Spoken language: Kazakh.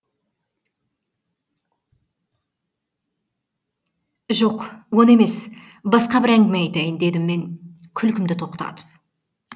жоқ оны емес басқа бір әңгіме айтайын дедім мен күлкімді тоқтатып